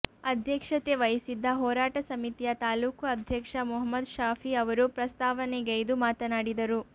ಅಧ್ಯಕ್ಷತೆ ವಹಿಸಿದ್ದ ಹೋರಾಟ ಸಮಿತಿಯ ತಾಲೂಕು ಅಧ್ಯಕ್ಷ ಮುಹಮ್ಮದ್ ಶಾಫಿ ಅವರು ಪ್ರಸ್ತಾವನೆಗೈದು ಮಾತನಾಡಿದರು